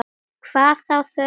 Hvað þá þörf næstu ára.